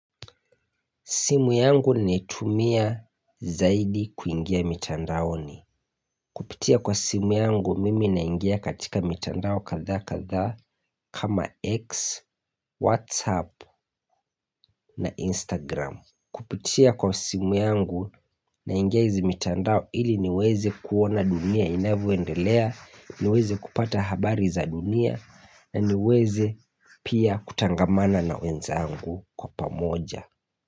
Simu yangu ni tumia zaidi kuingia mitandao ni. Kupitia kwa simu yangu mimi naingia katika mitandao kadhaa kadhaa kama X, Whatsapp na Instagram. Kupitia kwa simu yangu naingia hizi mitandao ili niweze kuona dunia inavyoendelea, niweze kupata habari za dunia, na niweze pia kutangamana na wenzangu kwa pamoja.